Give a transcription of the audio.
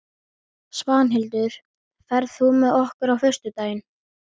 Svanhildur, ferð þú með okkur á föstudaginn?